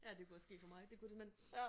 Ja det kunne være sket for mig det kunne det men